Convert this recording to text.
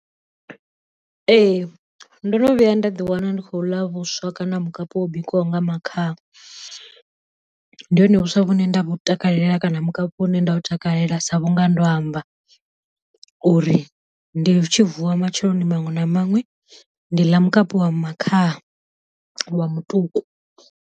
Ee ndo no vhuya nda ḓi wana ndi khou ḽa vhuswa kana mukapu wo bikiwaho nga makhaha, ndi hone vhuswa vhune nda u takalela kana mukapu une nda u takalela sa vhunga ndo amba uri ndi tshi vuwa matsheloni maṅwe na maṅwe, ndi ḽa mukapu wa makhaha wa mutuku.